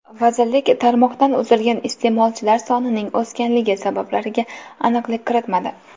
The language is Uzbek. Vazirlik tarmoqdan uzilgan iste’molchilar sonining o‘sganligi sabablariga aniqlik kiritmadi.